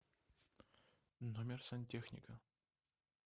номер сантехника